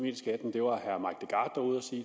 det var